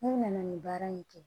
N'u nana nin baara in kɛ